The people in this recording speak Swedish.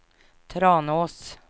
Tranås